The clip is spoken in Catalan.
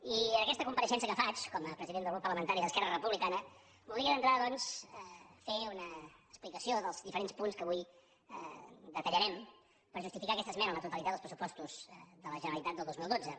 i en aquesta compareixença que faig com a president del grup parlamentari d’esquerra republicana voldria d’entrada doncs fer una explicació dels diferents punts que avui detallarem per justificar aquesta esmena a la totalitat dels pressupostos de la generalitat del dos mil dotze